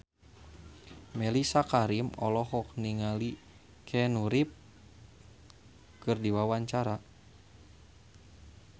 Mellisa Karim olohok ningali Keanu Reeves keur diwawancara